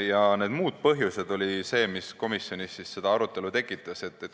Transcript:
Ja need "muud põhjused" olid need, mis komisjonis arutelu tekitasid.